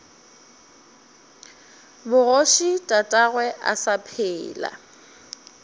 bogoši tatagwe a sa phela